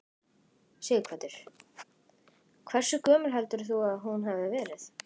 Sighvatur: Hversu gömul heldur þú að hún hafi verið?